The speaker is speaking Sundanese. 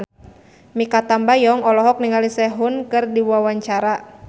Mikha Tambayong olohok ningali Sehun keur diwawancara